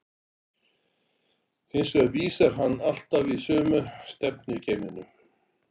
Hins vegar vísar hann alltaf í sömu stefnu í geimnum.